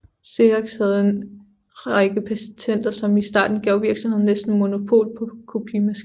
Xerox havde en række patenter som i starten gav virksomheden næsten monopol på kopimaskiner